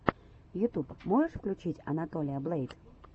ютуб можешь включить анатолия блэйд